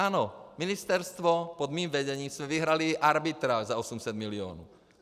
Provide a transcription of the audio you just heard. Ano, ministerstvo - pod mým vedením jsme vyhráli arbitráž za 800 milionů.